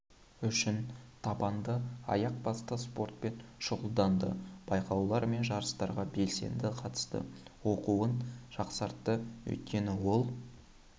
үшін табанды аяқ басты спортпен шұғылданды байқаулар мен жарыстарға белсенді қатысты оқуын жақсартты өйткені ол